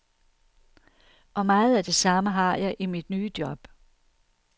Og meget af det samme har jeg i mit nye job.